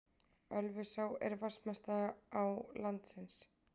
Ölfusá er vatnsmesta á landsins.